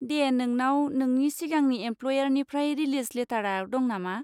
दे, नोंनाव नोंनि सिगांनि एमप्ल'यारनिफ्राय रिलिज लेटारआ दं नामा?